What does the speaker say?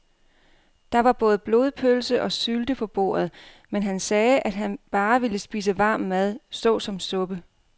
Der var både blodpølse og sylte på bordet, men han sagde, at han bare ville spise varm mad såsom suppe.